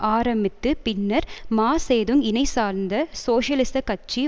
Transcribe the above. ஆரம்பித்து பின்னர் Mao Zedong இனை சார்ந்த சோசியலிச கட்சி